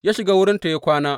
Ya shiga wurinta ya kwana.